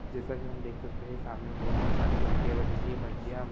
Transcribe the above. जैसा की हम देख सकते है सामने बहुत है सारे माल्तीय बानी है माल्तीय --